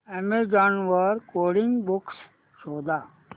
Amazon वर coding books शोधा